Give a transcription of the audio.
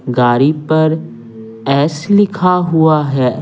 गाड़ी पर एस लिखा हुआ है।